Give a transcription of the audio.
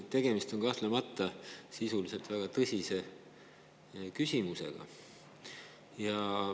Tegemist on kahtlemata väga tõsise küsimusega.